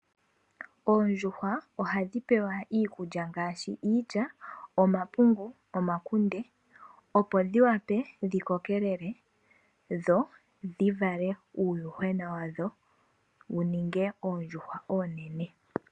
Oondjuhwa ohadhi pewa iikulya ngaashi iilya, omapungu, omakunde opo dhi wape dhi kokelele dho dhi wape dhivale uuyuhwena wadho wuninge oondjuhwa oonene.